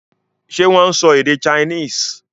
Ṣé wọ́n ń sọ èdè Chinese?